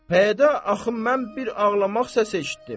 Pəyədə axı mən bir ağlamaq səs eşitdim.